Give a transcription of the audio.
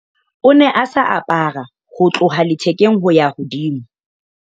o ne a sa apara ho tloha lethekeng ho ya hodimo